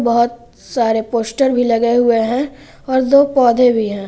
बहोत सारे पोस्टर भी लगे हुए हैं और दो पौधे भी हैं।